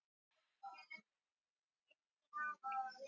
Birkir komst upp á veg og hljóp áfram heim að húsunum.